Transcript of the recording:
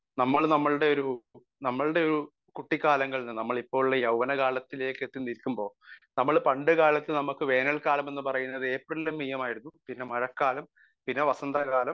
speaker 1 നമ്മൾ നമ്മളുടെ ഒരു നമ്മളുടെ ഒരു കുട്ടിക്കാലങ്ങളിൽ നിന്ന് നമ്മളുടെ ഇപ്പോഴുള്ള ഒരു യൗവന കാലത്തിലേക്ക് എത്തിനിൽക്കുമ്പോൾ നമ്മൾ പണ്ട് കാലത്തു നമ്മക്ക് വേനൽക്കാലം എന്ന് പറയുന്നത് ഏപ്രിൽ മെയ് ആയിരുന്നു പിന്നെ മഴക്കാലം പിന്നെ വസന്ത കാലം